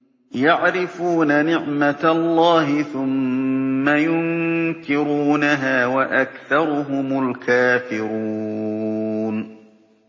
يَعْرِفُونَ نِعْمَتَ اللَّهِ ثُمَّ يُنكِرُونَهَا وَأَكْثَرُهُمُ الْكَافِرُونَ